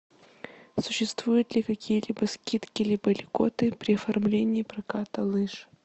существуют ли какие либо скидки либо льготы при оформлении проката лыж